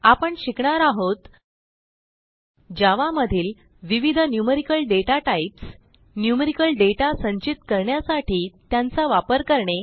आपण शिकणार आहोत जावा मधील विविध न्यूमेरिकल डाटाटाइप्स न्यूमेरिकल दाता संचित करण्यासाठी त्यांचा वापर करणे